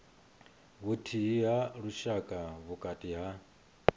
vhuthihi ha lushaka vhukati ha